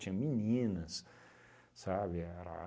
Tinha meninas, sabe? Era